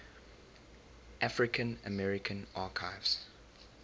african american archives